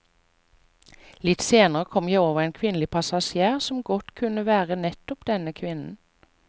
Litt senere kom jeg over en kvinnelig passasjer som godt kunne være nettopp denne kvinnen.